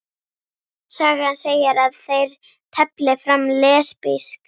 Sagan segir að þeir tefli fram lesbísk